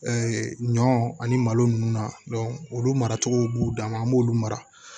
ɲɔ ani malo nunnu na olu maracogo b'u dan ma an b'olu mara